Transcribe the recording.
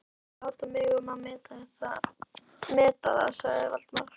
Viltu ekki láta mig um að meta það sagði Valdimar.